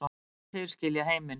Þeir skilja heiminn